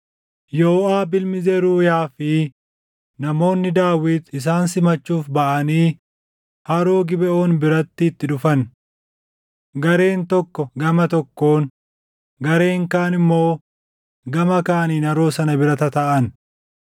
Yooʼaab ilmi Zeruuyaa fi namoonni Daawit isaan simachuuf baʼanii haroo Gibeʼoon biratti itti dhufan. Gareen tokko gama tokkoon, gareen kaan immoo gama kaaniin haroo sana bira tataaʼan.